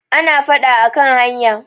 ana fada a kan hanya